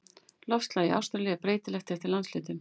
Loftslag í Ástralíu er breytilegt eftir landshlutum.